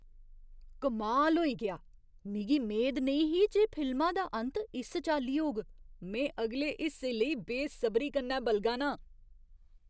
कमाल होई गेआ ! मिगी मेद नेईं ही जे फिल्मा दा अंत इस चाल्ली होग। में अगले हिस्से लेई बेसबरी कन्नै बलगा नां ।